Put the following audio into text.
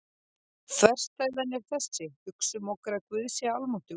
Þverstæðan er þessi: Hugsum okkur að Guð sé almáttugur.